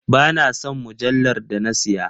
Ba na son mujallar da na siya,.